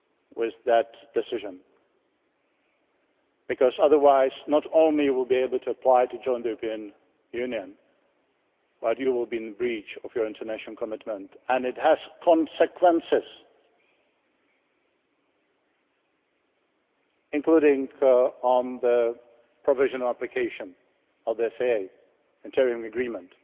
constitution with that decision because otherwise, not only will you not be able to apply to join the European Union, you will be in breach of your international commitment, and this has consequences, including on the provisional application of the SAA interim